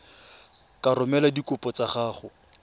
ka romela dikopo tsa gago